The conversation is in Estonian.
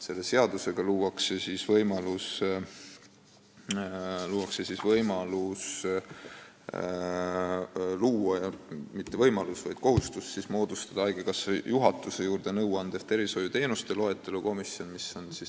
Selle seadusega tekib kohustus moodustada haigekassa juhatuse juurde nõuandev tervishoiuteenuste loetelu komisjon.